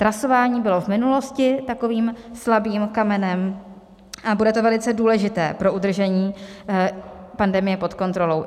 Trasování bylo v minulosti takovým slabým kamenem a bude to velice důležité pro udržení pandemie pod kontrolou.